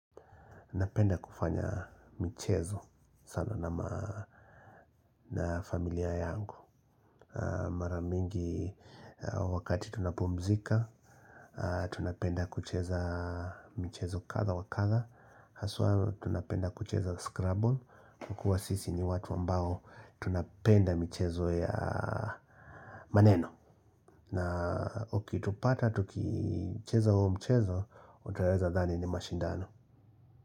Napenda kufanya mchezo sana na familia yangu. Mara mingi wakati tunapumzika, tunapenda kucheza mchezo kadha wakadha. Haswa tunapenda kucheza scrabble, kwa kuwa sisi ni watu ambao tunapenda mchezo ya maneno. Na ukitupata, tukicheza huo mchezo, utaweza dhani ni mashindano.